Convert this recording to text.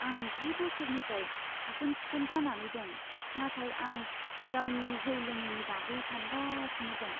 आं जि बोसोरनिफ्राय साखोन सिखोन जानानै दं, नाथाय आं गावनि जौ लोङैनि बागै सानगासिनो दं।